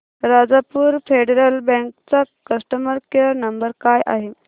Rajapur federal bank चा customer care number काय आहे